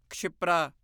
Kshipra